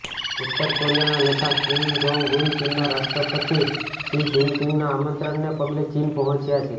ઉત્તર કોરિયાના નેતા કિમ જોંગ ઉન ચીનના રાષ્ટ્રપતિ શિ જિનપિંગના આમંત્રણને પગલે ચીન પહોંચ્યા છે